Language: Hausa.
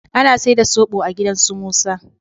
Ana saida sobo a gidan su Musa.